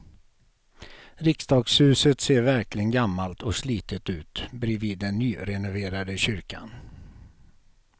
Riksdagshuset ser verkligen gammalt och slitet ut bredvid den nyrenoverade kyrkan.